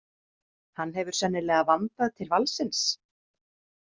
Hann hefur sennilega vandað til valsins.